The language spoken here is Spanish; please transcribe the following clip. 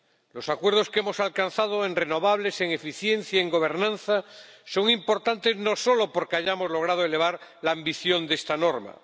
Los acuerdos que hemos alcanzado en renovables, en eficiencia y en gobernanza son importantes no solo porque hayamos logrado elevar la ambición de esta norma.